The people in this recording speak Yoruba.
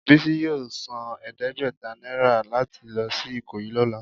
Bisi yọọ sán ẹdẹgbẹta naira latí lọ si ikoyi lọla.